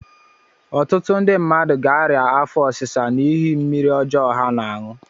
Ọtụtụ ndị mmadụ ga-arịa afọ ọsisa n'ihi mmiri ọjọ ha na-aṅụ.